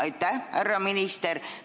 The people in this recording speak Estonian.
Aitäh, härra minister!